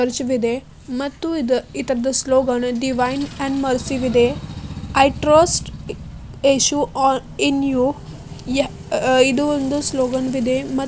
ಇದೆ ಮತ್ತು ಇದರ ಸ್ಲೋಗನ್ನು ಡಿವೈನ್ ಅಂಡ್ ಮರ್ಸಿ ಇದೆ. I trust Yeshu all in you ಇದು ಒಂದು ಸ್ಲೋಗನ್ ಇದೆ.